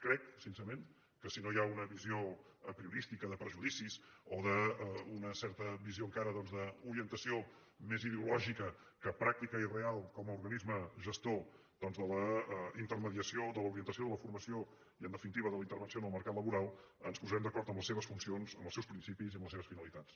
crec sincerament que si no hi ha una visió apriorística de prejudicis o d’una certa visió encara doncs d’orientació més ideològica que pràctica i real com a organisme gestor de la intermediació de l’orientació i de la formació i en definitiva de la intervenció en el mercat laboral ens posarem d’acord en les seves funcions en els seus principis i en les seves finalitats